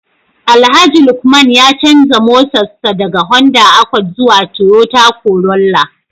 Alhaji Lukman ya canza motarsa ​​daga Honda Accord zuwa Toyota Corolla